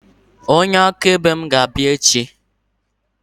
Onye akaebe mụ ga-abịa echi